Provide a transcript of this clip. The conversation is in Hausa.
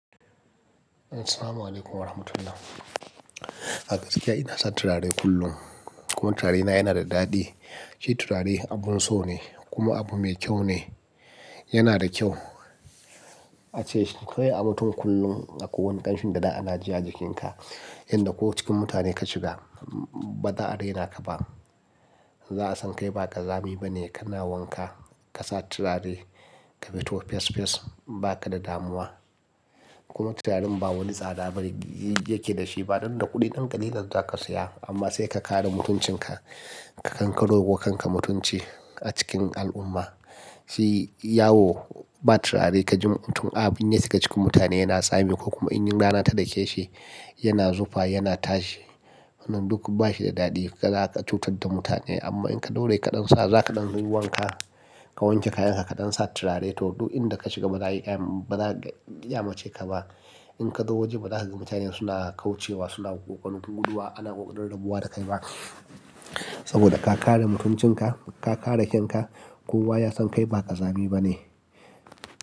Assalamu alaikum wa rahmatullah. A gaskiya ina son turare kullum kuma turarena yana da daɗi. Shi turare abun so ne kuma abu mai kyau ne, yana da kyau. Ace shi kawo ya mutu kullum a kowane ƙarshen daɗa ana ji a jikinka, inda ko cikin mutane ka shiga ba za a raina ka ba. Za a san kai ba ƙazami ba ne, kana wanka ka sa turare, ka fito fes fes ba ka da damuwa. Kuma turaren ba wani tsada ba yake da shi, ba dan da kuɗin ɗan ƙalilar za ka saya. Amma sai ka kare mutuncinka, ka kankoro wa kanka mutunci a cikin al'umma. Shi yawo ba turare ka ji mutum abin ne suka cikin mutane yana tsami ko kuma in rana ta da ke shi yana zufa yana tashi. Wannan duk ba shi da daɗi, za ka cutar da mutane amma in ka daure kaɗan sa za ka ɗan yi wanka, ka wanke kayanka ka ɗan sa turare, toh duk inda ka shiga ba za a iya, ba za a iya kyamace ka ba. In ka zo waje ba za ka ga mutane suna kaucewa suna guduwa ana ƙoƙarin rabuwa da kai ba. Saboda ka kare mutuncinka, ka kare kan ka kuma ya san kai ba ƙazami ba ne.